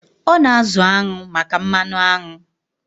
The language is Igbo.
Ọ na-azụ añụ maka mmanụ aṅụ.